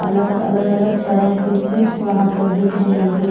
अलग अलग-अलग तरह के चिप्स वहां पर दिख रहे हैं।